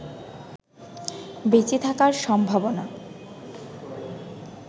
বেঁচে থাকার সম্ভাবনা